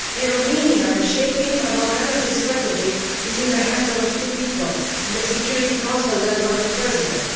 In Romania, the shaping of our energy strategy is in the hands of a few people in the Security Council led by the President.